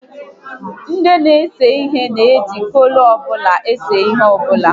Ndị n'ese ihe na eji kọlọ ọbụla ese ihe ọbụla